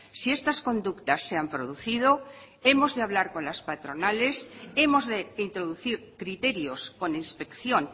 si estas conductas se han producido hemos de hablar con las patronales hemos de introducir criterios con inspección